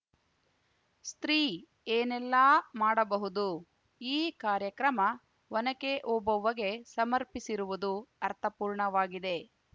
ಸ್ತ್ರೀ ಏನೆಲ್ಲಾ ಮಾಡಬಹುದು ಈ ಕಾರ್ಯಕ್ರಮ ಒನಕೆ ಓಬವ್ವಗೆ ಸಮರ್ಪಿಸಿರುವುದು ಅರ್ಥಪೂರ್ಣವಾಗಿದೆ